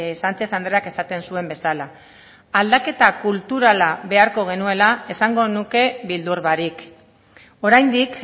sánchez andreak esaten zuen bezala aldaketa kulturala beharko genuela esango nuke beldur barik oraindik